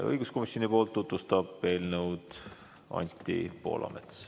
Õiguskomisjoni esindajana tutvustab eelnõu Anti Poolamets.